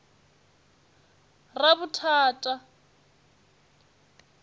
ravhuthata